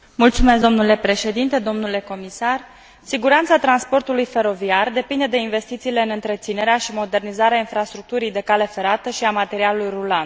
Domnule Președinte, domnule comisar, siguranța transportului feroviar depinde de investițiile în întreținerea și modernizarea infrastructurii de cale ferată și a materialului rulant.